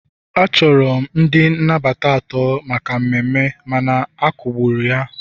achọrọ m ndị nnabata atọ maka mmemme mana akagburu ya